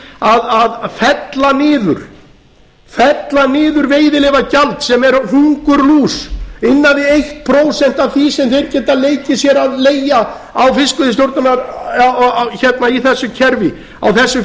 að fella niður veiðileyfagjald sem er hungurlús innan við eitt prósent af því sem þeir geta leikið sér að leigja í þessu kerfi á þessi